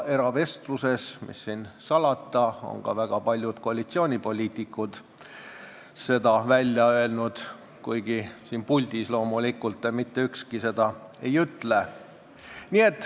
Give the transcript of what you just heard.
Ja mis siin salata, eravestluses on ka väga paljud koalitsioonipoliitikud sama välja öelnud, kuigi siin puldis loomulikult mitte ükski seda ei ütle.